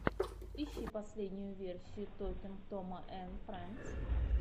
ищи последнюю серию токинг тома энд фрэндс